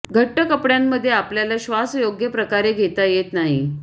घट्ट कपड्यांमध्ये आपल्याला श्वास योग्य प्रकारे घेता येत नाही